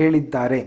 ಹೇಳಿದ್ದಾರೆ